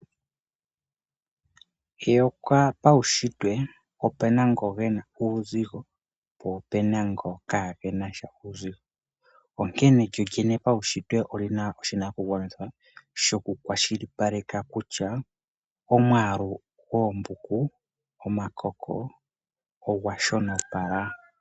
Eyola paushintwe opena ngoka gena uuuzigo po opena ngoka kaagenasha. Onkene lyo lyene paushitwe olina oshinakugwanitha shokukwashilipaleka kutya omwaalu gwoombuku ogwa shonopala.